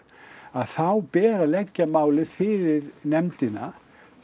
þá ber að leggja málið fyrir nefndina